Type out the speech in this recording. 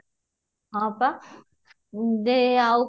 ହଁ ପା ଦେ ଆଉ